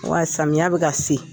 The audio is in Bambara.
Wa samiya bɛ ka se.